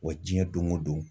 Wa diɲɛ don o don